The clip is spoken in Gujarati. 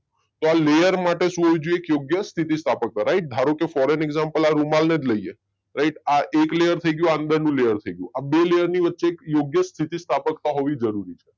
તો આ લેયર માટે શું હોવું જોઈએ એક યોગ્ય સ્થિતિ સ્થાપકતા રાઈટ. ધારો કે ફોરન એક્ષામ્પલ આ રૂમાલ ને જ લઈએ રાઈટ આ એક લેયર થઇ ગયું આ અંદરનું લેયર થઇ ગયું બે લેયર ની વચ્ચે એક યોગ્ય સ્થિતિ સ્થાપકતા હોવી જરુરી છે